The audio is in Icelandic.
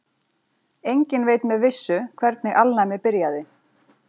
Enginn veit með vissu hvernig alnæmi byrjaði.